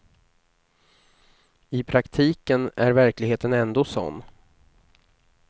I praktiken är verkligheten ändå sådan.